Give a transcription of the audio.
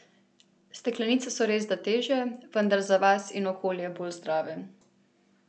Steklenice so resda težje, vendar za vas in okolje bolj zdrave.